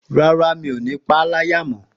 Rárá, mi ò ní paá láyà mọ